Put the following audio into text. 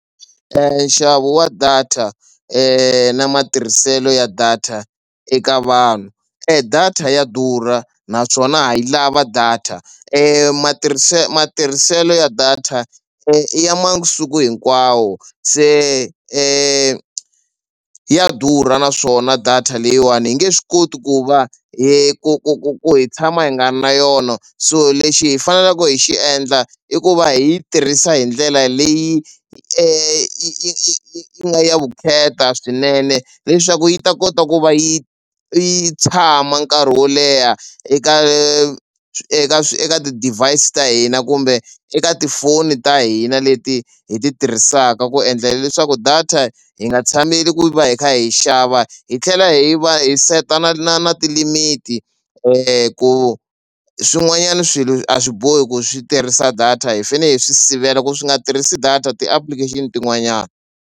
Nxavo wa data na matirhiselo ya data eka vanhu e data ya durha naswona ha yi lava data matirhiselo ya data i ya masiku hinkwawo se ya durha naswona data leyiwani hi nge swi koti ku va hi ku ku ku hi tshama hi nga na yona so lexi hi faneleke hi xi endla i ku va hi yi tirhisa hi ndlela leyi i i i nga ya vukheta swinene leswaku yi ta kota ku va yi yi tshama nkarhi wo leha eka eka eka ti-device ta hina kumbe eka tifoni ta hina leti hi ti tirhisaka ku endlela leswaku data hi nga tshameli ku va hi kha hi xava. Hi tlhela hi va hi set-a na na na ti-limit ku swin'wanyana swilo a swi bohi ku swi tirhisa data hi fanele hi swi sivela ku swi nga tirhisi data ti-application tin'wanyani.